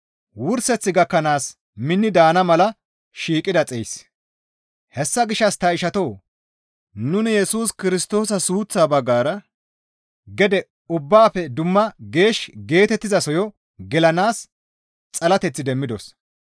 Hessa gishshas ta ishatoo! Nuni Yesus Kirstoosa suuththaa baggara gede ubbaafe dumma geesh geetettizasoyo gelanaas xalateth demmidos.